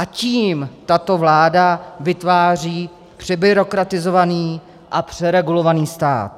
A tím tato vláda vytváří přebyrokratizovaný a přeregulovaný stát.